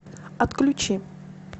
отключи